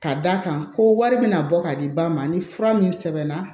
Ka d'a kan ko wari bɛna bɔ ka di ba ma ni fura min sɛbɛnna